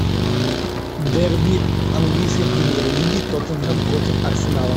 дерби английской премьер лиги тоттенхэм против арсенала